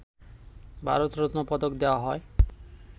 ভারত রত্ন পদক দেয়া হয়